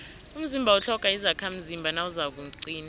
umzimba utlhoga izakhamzimba nawuzakuqina